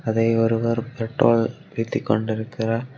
அதை ஒருவர் பெட்ரோல் ஊத்தி கொண்டிருக்கிறார்.